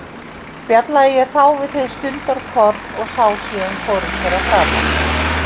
Spjallaði ég þá við þau stundarkorn og sá síðan hvorugt þeirra framar.